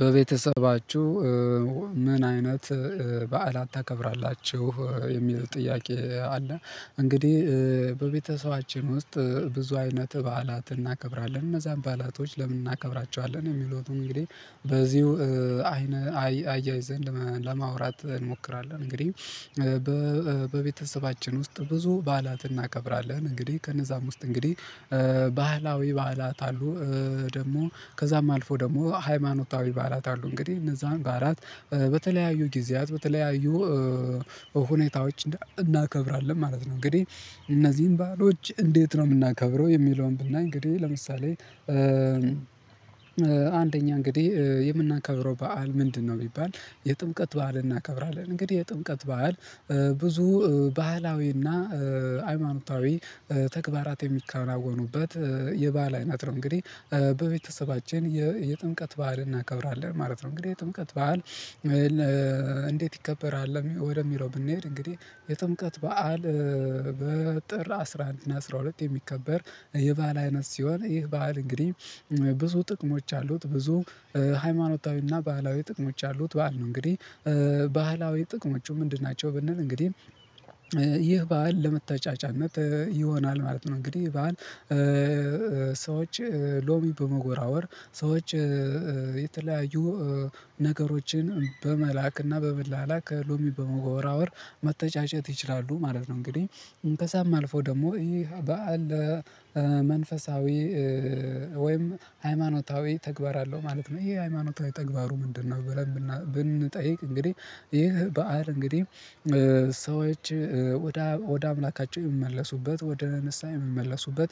በቤተሰባችሁ ምን አይነት በዓላት ታከብራላችሁ የሚለው ጥያቄ አለ? እንግዲህ በቤተሰባችን ውስጥ ብዙ አይነት በዓላት እናከብራለን እነዛን ባላቶች ለምን እናከብራቸዋለን የሚለውን እንግዲህ በዚሁ አይነ አያይዘንድ ለማውራት እንሞክራለን እንግዲህ በቤተሰባችን ውስጥ ብዙ ባላት እናከብራለን እንግዲህ ከነዛም ውስጥ እንግዲህ ባህላዊ ባህላት አሉ ደግሞ ከዛም አልፎ ደግሞ ሃይማኖታዊ በዓላት አሉ እንግዲህ እነዛን በዓላት በተለያዩ ጊዜያት በተለያዩ ሁኔታዎች እናከብራለን ማለት ነው። እንግዲህ እነዚህን ባህሎች እንዴት ነው የምናከብረው የሚለውን ብናይ እንግዲህ ለምሳሌ አንደኛ እንግዲህ የምናከብረው በዓል ምንድነው? ቢባል የጥምቀት በዓል እናከብራለን እንግዲህ የጥምቀት በዓል ብዙ ባህላዊና ሃይማኖታዊ ተግባራት የሚካሄድበት የባህል አይነት ነው እንግዲህ በቤተሰባችን የጥምቀት በዓል እናከብራለን ማለት ነው። እንግዲህ ጥምቀት በዓል እንዴት ይከበራል? ወደሚለው ብንሄድ እንግዲህ የጥምቀት በዓል በጥር አስራ አንድ እና አስራ ሁለት የሚከበር የባህል አይነት ሲሆን ይህ ባህል እንግዲህ ብዙ ጥቅሞች አሉት ብዙ ሃይማኖታዊና ባህላዊ ጥቅሞች አሉት በዓል ነው። እንግዲህ ባህላዊ ጥቅሞቹ ምንድን ናቸው? ብንል እንግዲህ ይህ በዓል ለመታጫጫነት ይሆናል ማለት ነው። እንግዲህ በዓል ሰዎች ሎሚ በመወራወር የተለያዩ ነገሮችን በመላክና በመላላክ ከሎሚ በመጎራወር መተጫጨት ይችላሉ ማለት ነው። እንግዲህ ከዛም አልፎ ደግሞ ይህ በዓል መንፈሳዊ ወይም ሃይማኖታዊ ተግባር አለው ማለት ነው። ይሄ ሃይማኖታዊ ተግባሩ ምንድነው? ብለን ብንጠይቅ እንግዲህ ይሄ በዓል እንግዲህ ሰዎች ወደ አምላካቸው የሚመለሱበት ወደ ንስሃ የሚመለሱበት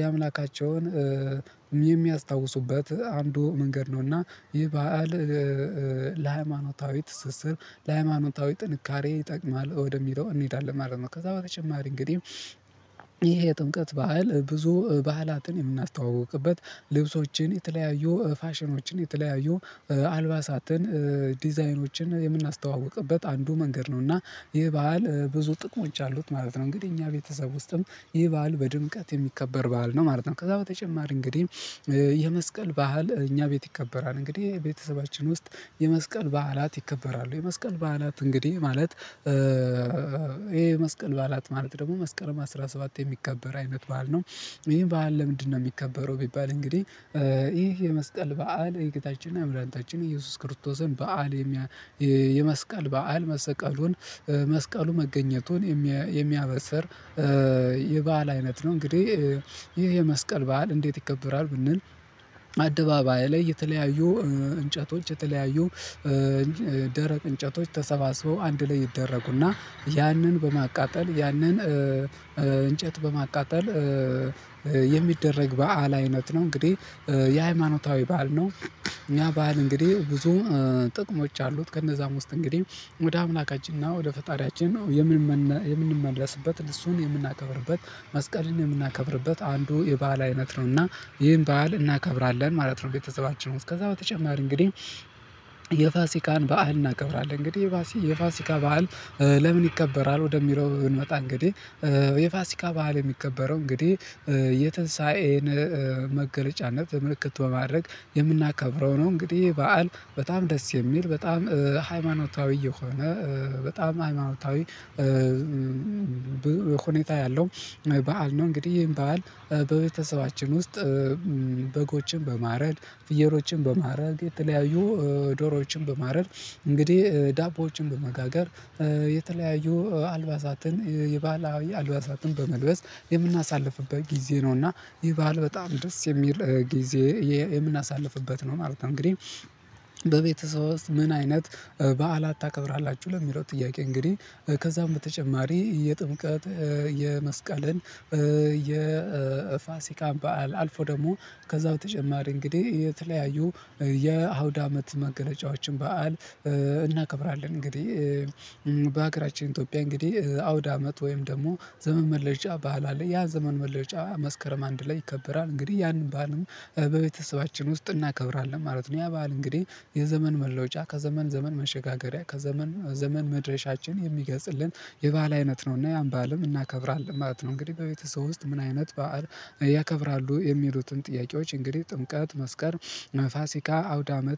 የአምላካቸውን የሚያስታውሱበት አንዱ መንገድ ነው። እና ይሄ በዓል ለሃይማኖታዊ ትስስር ለሃይማኖታዊ ጥንካሬ ይጠቅማል ወደሚለው እንሄዳለን ማለት ነው። ከዛ በተጨማሪ እንግዲህ ይሄ የጥምቀት በዓል ብዙ ባህላትን የምናስተዋውቅበት ልብሶችን የተለያዩ ፋሽኖችን የተለያዩ አልባሳትን ዲዛይኖችን የምናስተዋውቅበት አንዱ መንገድ ነው። እና ይህ በዓል ብዙ ጥቅሞች አሉት ማለት ነው። እንግዲህ እኛ ቤተሰብ ውስጥም ይህ በዓል በድምቀት የሚከበር ባህል ነው ማለት ነው። ከዛ በተጨማሪ እንግዲህ የመስቀል ባህል እኛ ቤት ይከበራል እንግዲህ ቤተሰባችን ውስጥ የመስቀል በዓላትት ይከበራሉ። የመስቀል በዓላት እንግዲህ ማለት ይሄ የመስቀል በዓላት ማለት ደግሞ መስከረም አስራ ሰባት የሚከበር አይነት በዓል ነው። ይሄ በዓል ለምንድነው የሚከበረው? ቢባል እንግዲህ ይሄ የመስቀል በዓል የጌታችን እና የመድሐኒታችንታችን ኢየሱስ ክርስቶስን በዓል የመስቀል በዓል መሰቀሉን መስቀሉ መገኘቱን የሚያበሰር የበአል አይነት ነው። እንግዲህ ይሄ የመስቀል በዓል እንዴት ይከበራል? ብንል አደባባይ ላይ የተለያዩ እንጨቶች የተለያዩ ደረቅ እንጨቶች ተሰባስበው አንድ ላይ ይደረጉና ያንን በማቃጠል ያንን እንጨት በማቃጠል የሚደረግ በዓል አይነት ነው። እንግዲህ የሃይማኖታዊ በዓል ነው። እኛ በዓል እንግዲህ ብዙ ጥቅሞች አሉት ከእነዛም ውስጥ እንግዲህ ወደ አምላካችንና ወደ ፈጣሪያችን የምንመለስበት እሱን የምናከብርበት መስቀልን የምናከብርበት አንዱ የባህል አይነት ነውና ይህን ባህል እናከብራለን ማለት ነው። ቤተሰባችን ውስጥ ከዛ በተጨማሪ እንግዲህ የፋሲካን በዓል እናቀብራለን እንግዲህ የፋሲ የፋሲካ በዓል ለምን ይከበራል? ወደሚለው ስንመጣ እንግዲህ የፋሲካ ባህል የሚከበረው እንግዲህ የትንሳኤን መገለጫነት ምልክት ማድረግ የምናከብረው ነው እንግዲህ ይህ በዓል በጣም ደስ የሚል በጣም ሃይማኖታዊ የሆነ በጣም ሃይማኖታዊ ሁኔታ ያለው በዓል ነው። እንግዲህ ይሄን በዓል በቤተሰባችን ውስጥ በጎችን በማረድ ፍየሮችን በማረድ የተለያዩ ዶሮዎችን በማረድ እንግዲህ ዳቦዎችን በመጋገር አልባሳትን የባህላዊ አልባሳትን በመልበስ የምናሳልፍበት ጊዜ ነውና ይህ በዓል በጣም ደስ የሚል ጊዜ የምናሳልፍበት ነው ማለት ነው። እንግዲህ በቤተሰብ ውስጥ ምን አይነት በዓላት ታከብራላችሁ? ለሚለው ጥያቄ እንግዲህ ከዛም በተጨማሪ የጥምቀት የመስቀልን የፋሲካን በዓል አልፎ ደግሞ ከዛው በተጨማሪ እንግዲህ የተለያዩ የአውድ አመት መገለጫዎችን በዓል እናከብራለን እንግዲህ በሀገራችን ኢትዮጵያ እንግዲህ አውደ አመት ወይም ደግሞ ዘመን መለወጫ ባህል አለ ያ ዘመን መለወጫ መስከረም አንድ ላይ ይከበራል እንግዲህ ያንን በዓልም በቤተሰባችን ውስጥ እናከብራለን ማለት ነው። ያ በዓል እንግዲህ የዘመን መለወጫ ከዘመን ዘመን መሸጋገሪያ ከዘመን ዘመን መድረሻችን የሚገጽልን የባል አይነት ነውና ያን ባልም እናከብራለን ማለት ነው። እንግዲህ በቤተሰብ ውስጥ ምን አይነት በዓል ያከብራሉ የሚሉትን ጥያቄዎች እንግዲህ ጥምቀት መስከር ና ፋሲካ አውደ አመት